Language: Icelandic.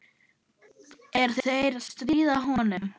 Er þeir að stríða honum?